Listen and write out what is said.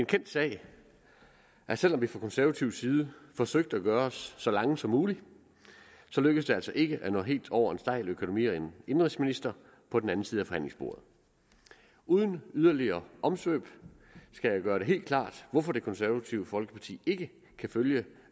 kendt sag at selv om vi fra konservativ side forsøgte at gøre os så lange som muligt så lykkedes det altså ikke at nå helt over til en stejl økonomi og indenrigsminister på den anden side af forhandlingsbordet uden yderligere omsvøb skal jeg gøre det helt klart hvorfor det konservative folkeparti ikke kan følge